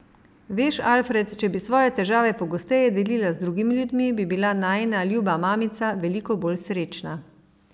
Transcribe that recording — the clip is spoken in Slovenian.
Veš, Alfred, če bi svoje težave pogosteje delila z drugimi ljudmi, bi bila najina ljuba mamica veliko bolj srečna.